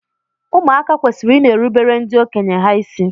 Ụmụaka kwesịrị ị na-erubere ndị okenye ha isi.